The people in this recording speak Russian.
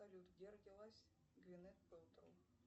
салют где родилась гвинет пэлтроу